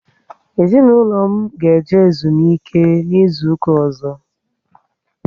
Ezinaụlọ m ga eje ezumike n' izuka ozo